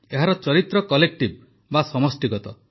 ଏହାର ଚରିତ୍ର କଲେକ୍ଟିଭ୍ ବା ସମଷ୍ଟିଗତ